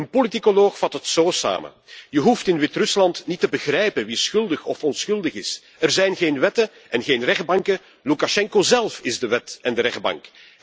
Een politicoloog vat het zo samen Je hoeft in Wit Rusland niet te begrijpen wie schuldig of onschuldig is. Er zijn geen wetten en geen rechtbanken. Loekasjenko zelf is de wet en de rechtbank.